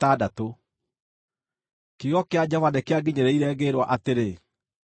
Kiugo kĩa Jehova nĩkĩanginyĩrĩire, ngĩĩrwo atĩrĩ,